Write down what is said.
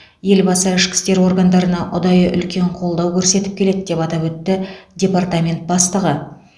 елбасы ішкі істер органдарына ұдайы үлкен қолдау көрсетіп келеді деп атап өтті департамент бастығы